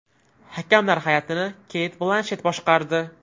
Hakamlar hay’atini Keyt Blanshet boshqardi.